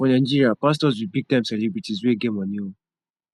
for nigeria pastors be big time celebrities wey get money oo